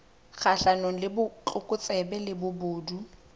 kgahlanong le botlokotsebe le bobodu